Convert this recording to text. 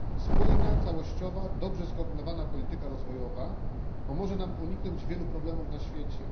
Spójna, całościowa, dobrze skoordynowana polityka rozwojowa pomoże nam uniknąć wielu problemów na świecie.